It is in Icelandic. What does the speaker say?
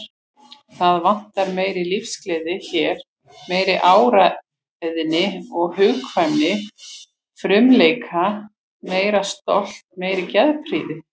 Það vantar meiri lífsgleði hér, meiri áræðni, hugkvæmni, frumleika, meira stolt, meiri geðprýði.